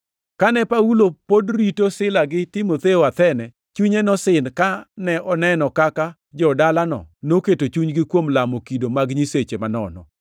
Kane Paulo pod rito Sila gi Timotheo Athene, chunye nosin kane oneno kaka jo-dalano noketo chunygi kuom lamo kido mag nyiseche manono.